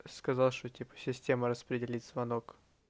сказал что типа система распределит звонок